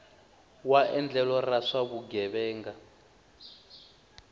wa endlelo ra swa vugevenga